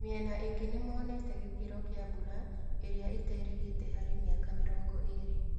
Mĩena ĩngĩ nĩmonete gĩkĩro kĩa mbura ĩrĩa ĩterĩgĩte harĩ mĩaka mĩrongo-ĩrĩ.